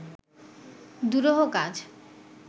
দুরূহ কাজ